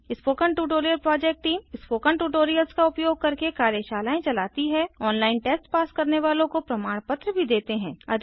spoken tutorial project team spoken tutorials का उपयोग करके कार्यशालाएँ चलती है ऑनलाइन टेस्ट पास करने वालों को प्रमाण पत्र भी देते हैं